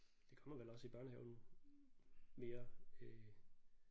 Det kommer vel også i børnehaven mere øh